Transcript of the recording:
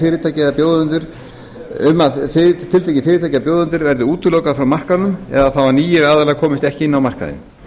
með sér að tiltekin fyrirtæki eða bjóðendur verði útilokaðir frá markaðnum eða þá að nýir aðilar komist ekki inn á markaðinn